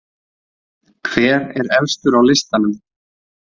Hver er efstur á listanum?